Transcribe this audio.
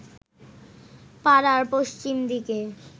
পাড়ার পশ্চিম দিকে